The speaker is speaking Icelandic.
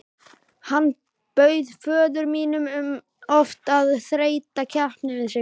Hann bauð föður mínum oft að þreyta keppni við sig.